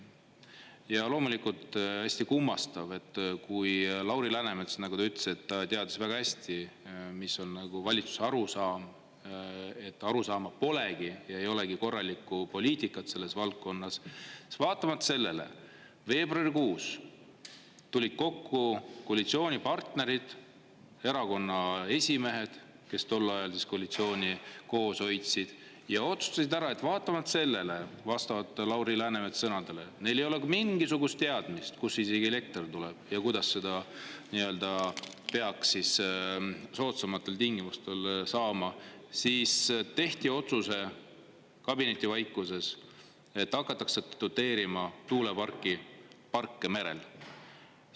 Ja loomulikult hästi kummastav, et kui Lauri Läänemets, nagu ta ütles, et ta teadis väga hästi, mis on nagu valitsuse arusaam, et arusaama polegi ja ei olegi korralikku poliitikat selles valdkonnas, siis vaatamata sellele veebruarikuus tulid kokku koalitsioonipartnerid, erakonnaesimehed, kes tol ajal koalitsiooni koos hoidsid, ja otsustasid ära, et vaatamata sellele, vastavalt Lauri Läänemetsa sõnadele, neil ei olnud mingisugust teadmist, kust isegi elekter tuleb ja kuidas seda nii-öelda peaks siis soodsamatel tingimustel saama, siis tehti otsus kabinetivaikuses, et hakatakse doteerima tuuleparke merel.